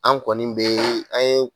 An kɔni bɛ an ye